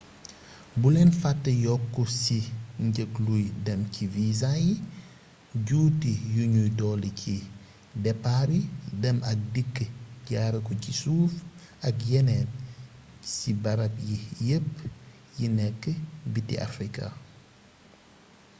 bulen fate yokk si njëg luy dem ci visa yi juuti yuñuy dolli ci depaar yi dem ak dikk jaare ko ci suuf ak yeneen si barab yii yépp yi nek biti africa